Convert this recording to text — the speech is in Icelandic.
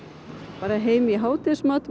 bara heim í hádegismat með